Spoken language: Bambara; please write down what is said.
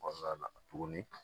Kɔnɔna na tuguni